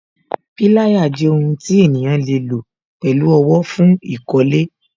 Pilaya jẹ́ ohun tí ènìyàn le lo pẹ̀lú owó, fún ìkọ́lé